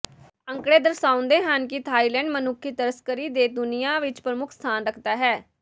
ਅੰਕੜੇ ਦਰਸਾਉਂਦੇ ਹਨ ਕਿ ਥਾਈਲੈਂਡ ਮਨੁੱਖੀ ਤਸਕਰੀ ਤੇ ਦੁਨੀਆ ਵਿਚ ਪ੍ਰਮੁੱਖ ਸਥਾਨ ਰੱਖਦਾ ਹੈ